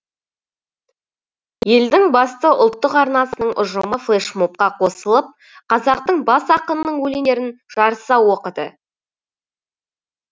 елдің басты ұлттық арнасының ұжымы флэшмобқа қосылып қазақтың бас ақынының өлеңдерін жарыса оқыды